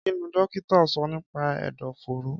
Kí ni dókítà sọ nípa ẹ̀dọ̀fóró?